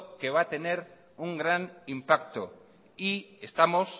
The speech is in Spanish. que va a tener un gran impacto y estamos